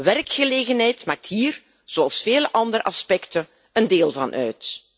Werkgelegenheid maakt hier, zoals vele andere aspecten, een deel van uit.